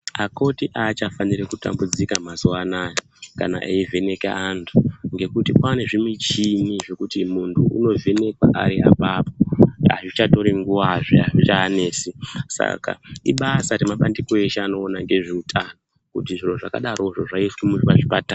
Akoti aachafaniri kutambudzika mazuwanaya kana eyivheneke antu ngekuti kwane zvimuchini zvekuti muntu unovhenekwa ari apapo. Azvichatori nguwazve azvichavanesi saka ibasa remabandiko eshe anoona nezveutano kuti zviro zvakadarozvo zvaiswa muzvipatara.